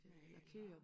Male og